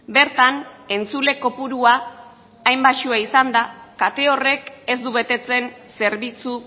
bertan entzule kopurua hain baxua izanda kate horrek ez du betetzen zerbitzu